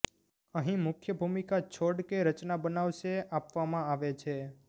અહીં મુખ્ય ભૂમિકા છોડ કે રચના બનાવશે આપવામાં આવે છે